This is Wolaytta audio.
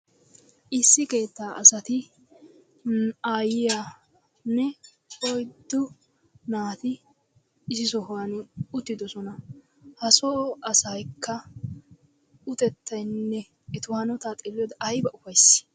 Issi keetta asati aayiyanne oyddu naati issi sohuwan uttidosona. Etaso asaykka utettaanne eta hanotaa xeeliyode ayba ufaaysiy